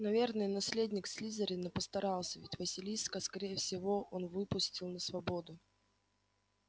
наверное наследник слизерина постарался ведь василиска скорее всего он выпустил на свободу